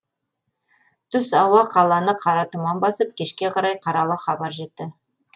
түс ауа қаланы қара тұман басып кешке қарай қаралы хабар жетті